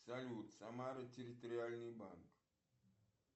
салют самара территориальный банк